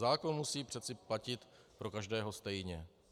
Zákon musí přece platit pro každého stejně.